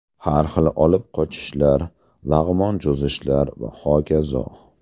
Har xil olib qochishlar, lag‘mon cho‘zishlar va hokazo.